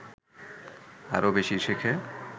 আরও বেশি শেখে